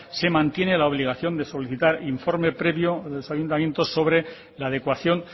se mantiene la obligación de solicitar informe previo en los ayuntamientos sobre la adecuación